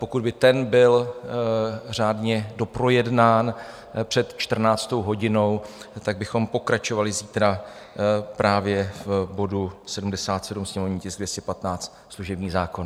Pokud by ten byl řádně doprojednán před 14. hodinou, tak bychom pokračovali zítra právě v bodu 77, sněmovní tisk 215, služební zákon.